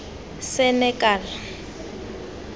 senekal